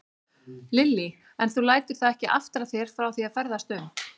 Lillý: En þú lætur það ekki aftra þér frá því að ferðast um?